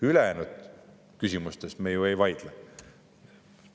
Ülejäänud küsimustes me ju ei vaidle.